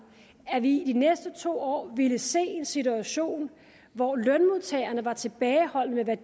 er vi i de næste to år ville se en situation hvor lønmodtagerne var tilbageholdende